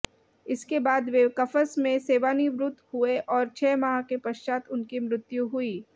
इसके बाद वे कफ़स में सेवानिवृत्त हुए और छः माह के पश्चात उनकी मृत्यु हुई